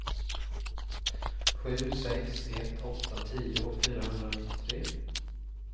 sju sex ett åtta tio fyrahundranittiotre